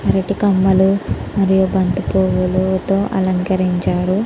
అరటి కమ్మలు మరియు బంతి పూవులతో అలంకరించారు.